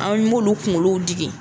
An m'olu kunkolow digi.